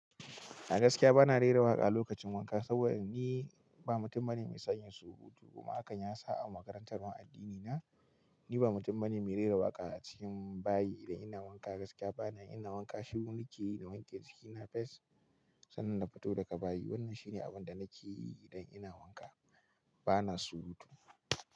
A gaskiya bana rera waƙa a lokacin wanka saboda ni ba mutum bane mai sayan surutu. Kuma akan yasa a makarantar mu addini na, ni ba mutum bane mai rera waƙa a cikin bayi. Idan ina wanka gaskiya bana ina wanka, shiru ni ke yi na wanke jikina fes sannan na fito daga bayi. Wannan shine abin da nake yi idan ina wanka bana surutu.